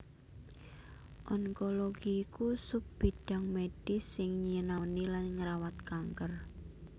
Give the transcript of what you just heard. Onkologi iku sub bidhang medhis sing nyinaoni lan ngrawat kanker